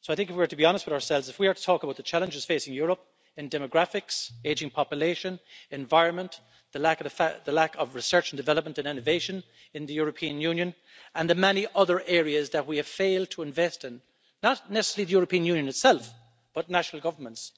So I think if we are to be honest with ourselves, if we are to talk about the challenges facing Europe demographics, aging population, environment, the lack of research and development and innovation in the European Union, and the many other areas that we have failed to invest in not necessarily the European Union itself, but national governments